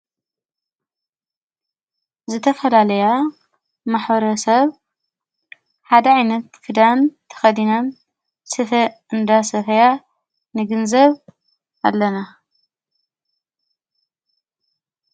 ዘተፈላለያ ማኅረ ሰብ ሓደዒይነት ፍዳን ተኸዲናን ስፈ እንዳ ሰፈያ ንግንዘብ ኣለና።